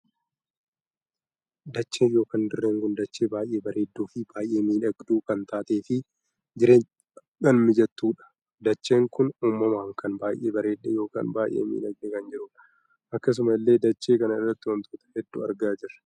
Dacheen ykn dirree kun dachee baay'ee bareedduu fi baay'ee miidhagduu kan taatee fi jireenyaaf kan mijattudha. dacheen kun uumamaan kan baay'ee bareeddee ykn baay'ee miidhagee kan jirudha. akkasuma illee dachee kana irratti wantoota hedduu argaa jirra.